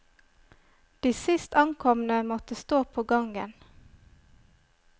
De sist ankomne måtte stå på gangen.